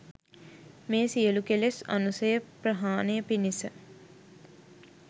මේ සියලු කෙලෙස් අනුසය ප්‍රහාණය පිණිස